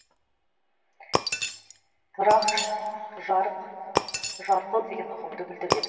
рахш жарық жарқыл деген ұғымды білдіреді